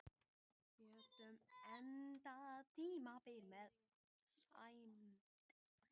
Getum endað tímabilið með sæmd